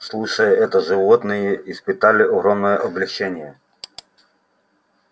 слушая это животные испытали огромное облегчение